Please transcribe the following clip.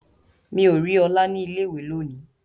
Mi o ri ọlá ni ilé ìwé lóni.